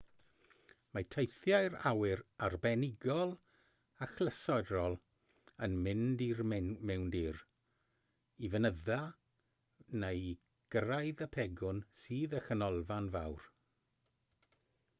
mae teithiau awyr arbenigol achlysurol yn mynd i'r mewndir i fynydda neu i gyrraedd y pegwn sydd â chanolfan fawr